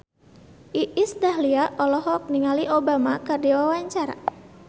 Iis Dahlia olohok ningali Obama keur diwawancara